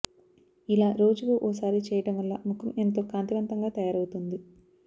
ఇలా రోజుకి ఓ సారి చేయడం వల్ల ముఖం ఎంతో కాంతివంతంగా తయారవుతుంది